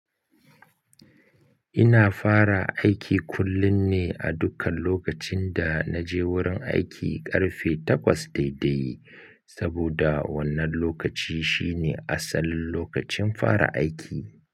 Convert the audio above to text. Ina fara aiki kullum ne a dukkan lokacin da na je wurin aiki ƙarfe takwas daidai, saboda wannan lokaci shine asalin lokacin fara aiki.